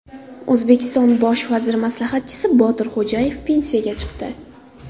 O‘zbekiston bosh vaziri maslahatchisi Botir Xo‘jayev pensiyaga chiqdi.